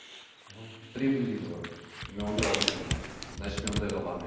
мхм прибыль дейді ғой мен оны жоғалтқым келмейді значит мен ондайға бармаймын